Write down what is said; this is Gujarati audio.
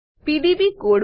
PDB code